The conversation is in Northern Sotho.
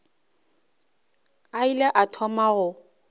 a ile a thoma go